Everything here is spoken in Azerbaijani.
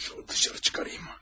Şunu dışarı çıxarayım.